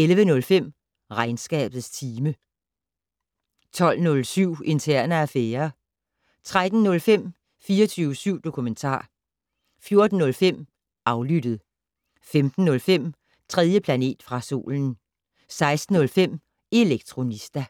11:05: Regnskabets time 12:07: Interne affærer 13:05: 24syv dokumentar 14:05: Aflyttet 15:05: 3. planet fra solen 16:05: Elektronista